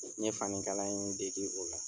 N ye fani kalan in degi o la.